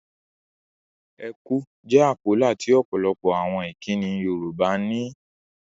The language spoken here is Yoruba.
Ẹ kú' jẹ́ àpólà tí ọ̀pọ̀lọpọ̀ àwọn ìkínni Yorùbá ní.